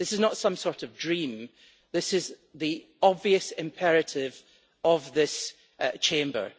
This is not some sort of dream it is the obvious imperative for this Chamber.